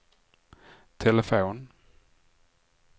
telefon